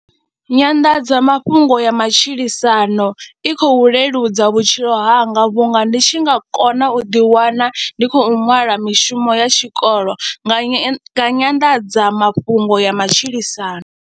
Nyanḓadzamafhungo ya matshilisano i khou leludza vhutshilo hanga vhunga ndi tshi nga kona u ḓiwana ndi khou ṅwala mishumo ya tshikolo nga nya nyanḓadzamafhungo ya matshilisano.